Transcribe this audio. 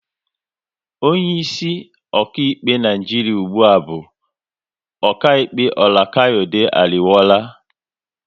Onye isi okaịkpe Naijiria ụgbụa bu okaịkpe Olukayade Ariwoola